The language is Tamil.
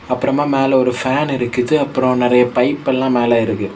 அப்பறமா மேல ஒரு ஃபேன் இருக்குது அப்றோ நிறைய பைப் எல்லா மேல இருக்கு.